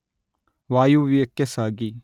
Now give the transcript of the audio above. ವಾಯವ್ಯಕ್ಕೆ ಸಾಗಿ